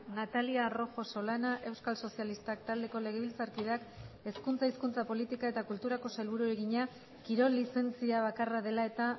natalia rojo solana euskal sozialistak taldeko legebiltzarkideak hezkuntza hizkuntza politika eta kulturako sailburuari egina kirol lizentzia bakarra dela eta